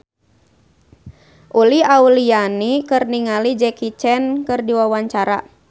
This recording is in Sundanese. Uli Auliani olohok ningali Jackie Chan keur diwawancara